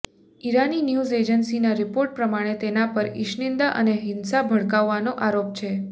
ઈરાનની news એજન્સીના report પ્રમાણે તેના પર ઇશનિંદા અને હિંસા ભડકાવવાનો આરોપ છે